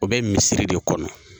O bɛ misiri de kɔnɔ